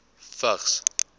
vigs